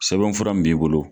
Sɛbɛnfura min b'i bolo.